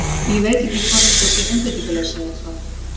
Ég veit ekki hvort þetta sé einbeitingarleysi eða hvað?